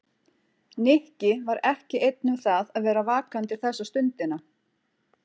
Nikki var ekki einn um það að vera vakandi þessa stundina.